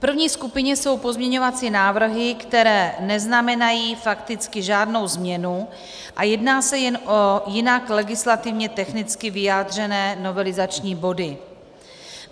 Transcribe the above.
V první skupině jsou pozměňovací návrhy, které neznamenají fakticky žádnou změnu, a jedná se jen o jinak legislativně technicky vyjádřené novelizační body.